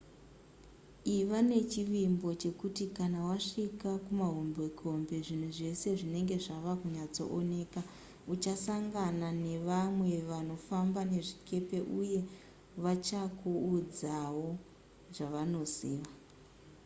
iva nechivimbo chekuti kana wasvika kumahombekombe zvinhu zvese zvinenge zvava kunyatsooneka uchasangana nevamwe vanofamba nezvikepe uye vachakuudzawo zvavanoziva